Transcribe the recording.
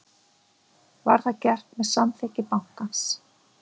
Var það gert með samþykki bankans